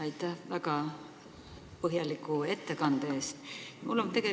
Aitäh väga põhjaliku ettekande eest!